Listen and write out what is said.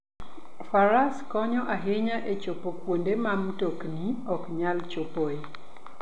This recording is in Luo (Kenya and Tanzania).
Faras konyo ahinya e chopo kuonde ma mtokni ok nyal chopoe.